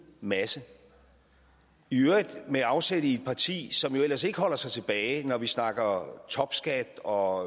masse i øvrigt med afsæt i et parti som jo ellers ikke holder sig tilbage når vi snakker om topskat og